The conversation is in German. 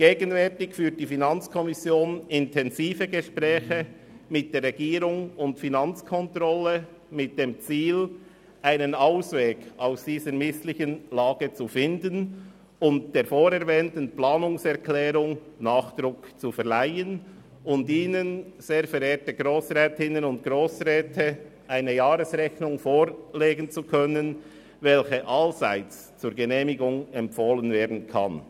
Gegenwärtig führt die FiKo intensive Gespräche mit der Regierung und der Finanzkontrolle mit dem Ziel, einen Ausweg aus dieser misslichen Lage zu finden, der vorerwähnten Planungserklärung Nachdruck zu verleihen und Ihnen, sehr verehrte Grossrätinnen und Grossräte, eine Jahresrechnung vorzulegen, welche allseits zur Genehmigung empfohlen werden kann.